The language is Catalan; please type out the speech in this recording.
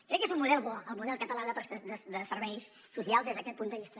crec que és un model bo el model català de serveis socials des d’aquest punt de vista